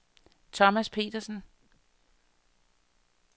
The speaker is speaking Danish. Thomas Petersen